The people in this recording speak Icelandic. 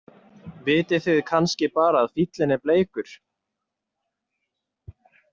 Vitið þið kannski bara að fíllinn er bleikur?